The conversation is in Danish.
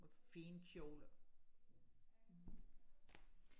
og fine kjoler